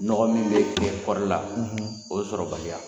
Nɔgɔ min bɛ kɛ kɔɔri la o sɔrɔbaliya.